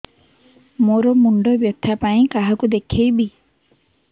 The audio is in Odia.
ମୋର ମୁଣ୍ଡ ବ୍ୟଥା ପାଇଁ କାହାକୁ ଦେଖେଇବି